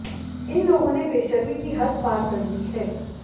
इन लोगों ने बेशर्मी की हद पार कर दी है